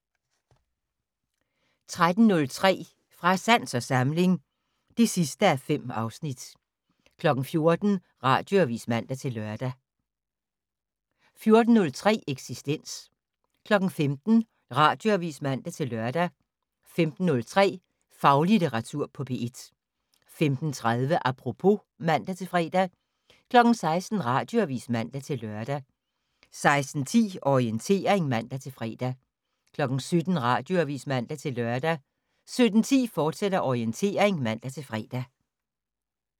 13:03: Fra sans og samling (5:5) 14:00: Radioavis (man-lør) 14:03: Eksistens 15:00: Radioavis (man-lør) 15:03: Faglitteratur på P1 15:30: Apropos (man-fre) 16:00: Radioavis (man-lør) 16:10: Orientering (man-fre) 17:00: Radioavis (man-lør) 17:10: Orientering, fortsat (man-fre)